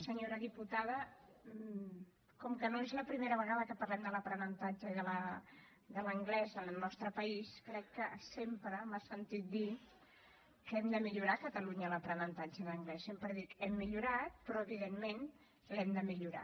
senyora diputada com que no és la primera vegada que parlem de l’aprenentatge i de l’anglès en el nostre país crec que sempre m’ha sentit dir que hem de millorar a catalunya l’aprenentatge d’anglès sempre dic hem millorat però evidentment l’hem de millorar